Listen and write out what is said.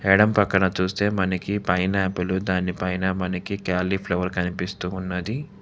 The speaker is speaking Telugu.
ఎడం పక్కన చూస్తే మనకి పైనాపిలు దాని పైన మనకి క్యాలీఫ్లవర్ కనిపిస్తూ ఉన్నది.